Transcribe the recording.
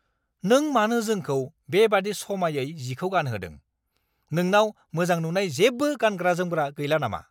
नों मानो जोंखौ बेबादि समायै जिखौ गानहोदों? नोंनाव मोजां नुनाय जेबो गानग्रा-जोमग्रा गैला नामा?